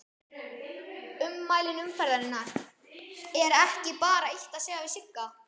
Ummæli umferðarinnar: Er ekki bara eitt að segja við Sigga?